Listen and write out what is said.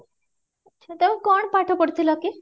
ତମେ କଣ ପାଠ ପଢିଥିଲ କି?